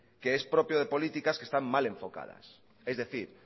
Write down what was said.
que es propio de políticas que están mal enfocadas es decir